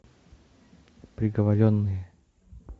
приговоренные